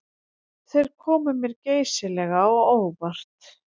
Þeir komu mér geysilega á óvart